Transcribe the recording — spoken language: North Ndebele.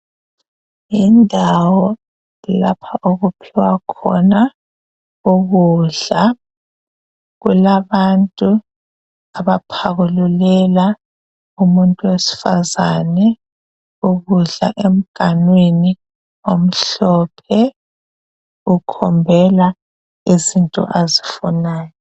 Yindawo lapha okuphiwa khona ukudla, kulabantu abaphakululela umuntu wesifazane ukudla emganwini omhlophe ukhombela izinto azifunayo.